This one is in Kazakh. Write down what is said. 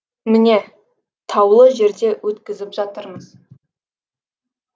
міне таулы жерде өткізіп жатырмыз